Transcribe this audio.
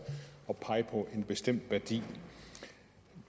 at pege på en bestemt værdi